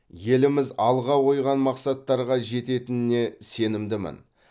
еліміз алға қойған мақсаттарға жететініне сенімдімін